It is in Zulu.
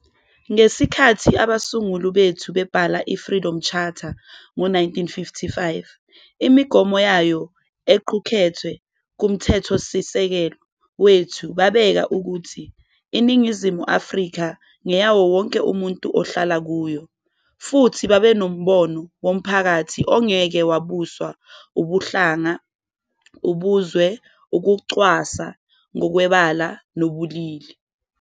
Ngesikhathi izingqalabutho zakithi zenza uhlaka loSomqulu Wenkululeko ngowe-1955, izimiso zawo ezifakwe kuMthethosisekelo wethu, babeka ukuthi iNingizimu Afrika eyawo wonke umuntu ohlala kuyona, babehlose umphakathi ongenako ukuzibeka phambili ngokobuhlanga, ngokobuzwe, ukucwasana ngokwebala nangokobulili.